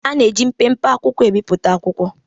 A na-eji mpempe akwụkwọ ebipụta akwụkwọ